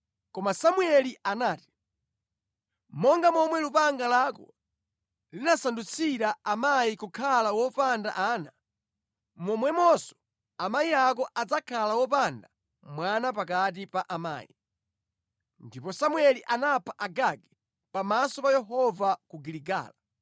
Koma Samueli anati, “Monga momwe lupanga lako linasandutsira amayi kukhala wopanda ana, momwemonso amayi ako adzakhala opanda mwana pakati pa amayi.” Ndipo Samueli anapha Agagi pamaso pa Yehova ku Giligala.